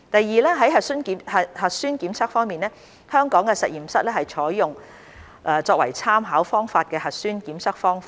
二核酸檢測方面，香港的實驗室採用作為參考方法的核酸檢測方法。